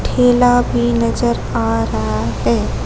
ठेला भी नजर आ रहा है।